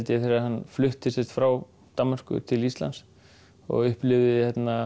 þegar hann flutti frá Danmörku til Íslands og upplifði